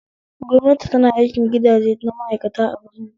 Gwamnati tana aikin gidaje na ma'aikata a birni